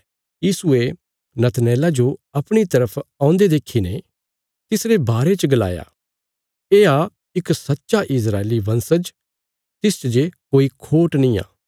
यीशुये नतनएला जो अपणी तरफ औन्दे देखीने तिसरे बारे च गलाया येआ इक सच्चा इस्राएली वंशज तिस्च जे कोई खोट निआं